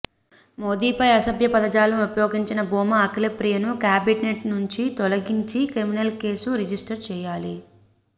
మోదీపై అసభ్య పదజాలం ఉపయోగించిన భూమా అఖిల ప్రియను కాబినెట్ నుంచి తొలగించి క్రిమినల్ కేసు రిజిస్టర్ చేయాలి